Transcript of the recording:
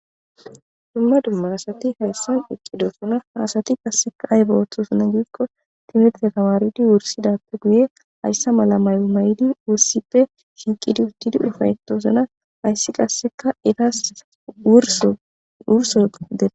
dumma dumma asati hayssan eqqidosona haasati qasseka aybe oththosona giikko timitre tawaaridi wursidappe guye hayssa mala mayo may7di wussippe shinqidi uttidi ifaytoosona hayssi qasseka etas wursodee